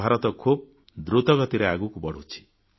ଭାରତ ଖୁବ୍ ଦ୍ରୁତ ଗତିରେ ଆଗକୁ ବଢ଼ୁଛି